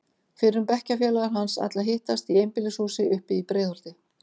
Fyrrum bekkjarfélagar hans ætla að hittast í einbýlishúsi uppi í Breiðholti.